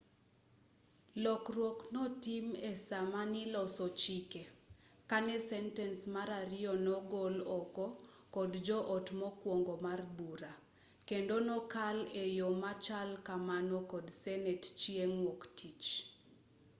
lokruok notim esaamaniloso chike kane sentens mar ariyo nogol oko kod jo-ot mokwongo mar bura kendo nokal eyo machal kamano kod senet chieng' wuok-tich